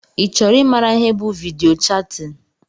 i chọrọ i maara ihe bụ vidiyo chatin?